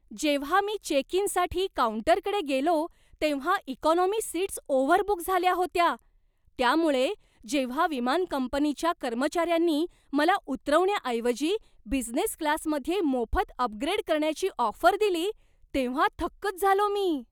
जेव्हा मी चेक इनसाठी काऊंटरकडे गेलो तेव्हा इकॉनॉमी सीट्स ओव्हरबुक झाल्या होत्या, त्यामुळे जेव्हा विमान कंपनीच्या कर्मचाऱ्यांनी मला उतरवण्याऐवजी बिझनेस क्लासमध्ये मोफत अपग्रेड करण्याची ऑफर दिली तेव्हा थक्कच झालो मी.